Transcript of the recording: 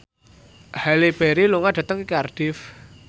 Halle Berry lunga dhateng Cardiff